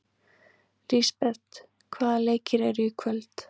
Lisbeth, hvaða leikir eru í kvöld?